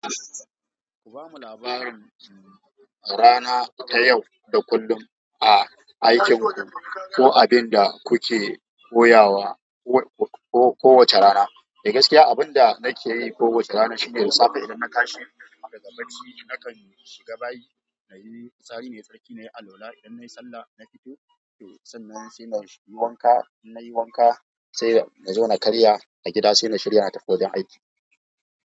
Ku bamu labarin, um, rana ta yau da kullum a aikin ku ko abin da kuke koyawa ko, ko kowace rana. Eh gaskiya abin da nake yi kowace rana shine da safe idan na tashi, kafin na yi bacci nakan shiga bayi, na yi fitsari na yi tsarki, na yi alwala. Idan na yi sallah, na fito sannan sai na yi wanka. In na yi wanka sai na zo na karya a gida sai na shirya na tafi wajen aiki.